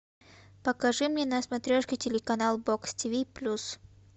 покажи мне на смотрешке телеканал бокс тиви плюс